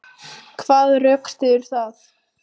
Hvað rökstyður það?